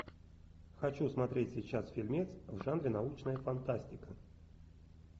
хочу смотреть сейчас фильмец в жанре научная фантастика